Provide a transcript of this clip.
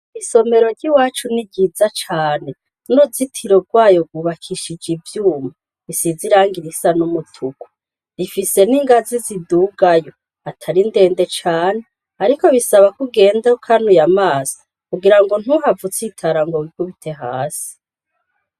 Isomero ry'i wacu ni ryiza cane nuruzitiro rwayo bwubakishija ivyuma risiziranga irisa n'umutuku rifise n'ingazi zidugayo atari ndende cane, ariko bisaba kugenda kanuye amaso kugira ngo ntuhava utsitara ngo bikubite hasi.